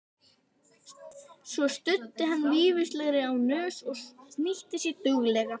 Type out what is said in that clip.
Svo studdi hann vísifingri á nös og snýtti sér duglega.